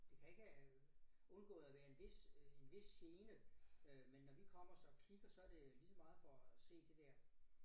Det kan ikke have øh undgået at være en vis øh en vis gene øh men når vi kommer så kvikt og så det lige så meget for at se det der